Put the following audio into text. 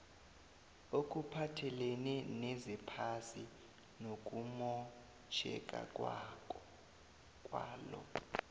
okuphathelene nezephasi nokumotjheka kwalo